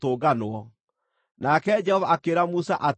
nake Jehova akĩĩra Musa atĩrĩ,